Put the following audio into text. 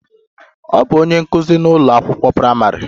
Ọ bụ onye nkụzi n'ụlọ akwụkwọ praịmarị.